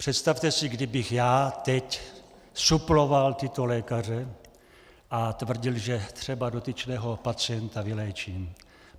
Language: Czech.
Představte si, kdybych já teď suploval tyto lékaře a tvrdil, že třeba dotyčného pacienta vyléčím.